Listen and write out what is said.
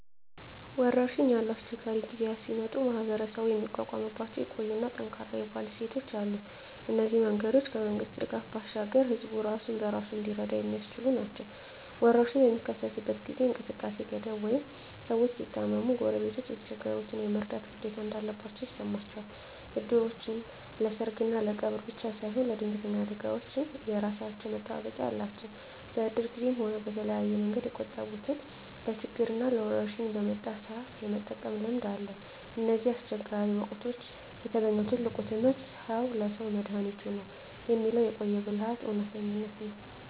ወረርሽኝ ያሉ አስቸጋሪ ጊዜያት ሲመጡ ማኅበረሰቡ የሚቋቋምባቸው የቆዩና ጠንካራ የባህል እሴቶች አሉ። እነዚህ መንገዶች ከመንግሥት ድጋፍ ባሻገር ሕዝቡ ራሱን በራሱ እንዲረዳ የሚያስችሉ ናቸው። ወረርሽኝ በሚከሰትበት ጊዜ እንቅስቃሴ ሲገደብ ወይም ሰዎች ሲታመሙ፣ ጎረቤቶች የተቸገሩትን የመርዳት ግዴታ እንዳለባቸው ይሰማቸዋል። እድሮች ለሰርግና ለቀብር ብቻ ሳይሆን ለድንገተኛ አደጋዎችም የራሳቸው መጠባበቂያ አላቸው። በእድር ጊዜም ሆነ በተለያየ መንገድ የቆጠቡትን ለችግርና ለወረርሽኝ በመጣ ሰአት የመጠቀም ልምድ አለ። ከእነዚህ አስቸጋሪ ወቅቶች የተገኘው ትልቁ ትምህርት "ሰው ለሰው መድኃኒቱ ነው" የሚለው የቆየ ብልሃት እውነተኝነት ነው።